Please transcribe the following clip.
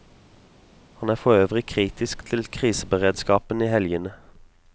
Han er forøvrig kritisk til kriseberedskapen i helgene.